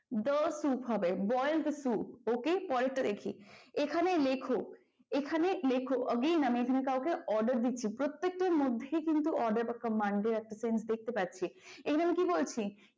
the soup হবে boil the soup OK পরেরটা দেখি। এখানে লেখো, এখানে লেখো again আমি এখানে কাউকে order দিচ্ছি, প্রত্যেকটার মধ্যেই কিন্তু order বা command এর একটা sentence দেখতে পাচ্ছি এখানে আমি কি বলছি।